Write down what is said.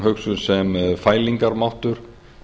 hugsuð sem fælingarmáttur